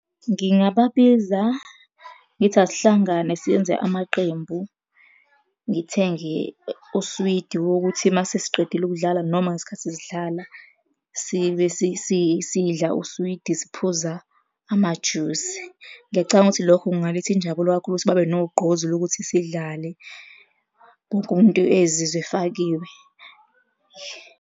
Ngingababiza ngithi, asihlangane siyenze amaqembu. Ngithenge uswidi wokuthi uma sesiqedile ukudlala noma ngesikhathi sidlala sibe sidla uswidi, siphuza amajusi. Ngiyacabanga ukuthi lokho kungaletha injabulo kakhulu ukuthi babe nogqozi lokuthi sidlale. Wonke umuntu azizwe efakiwe.